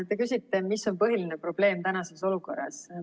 Te küsisite, mis on põhiline probleem tänases olukorras.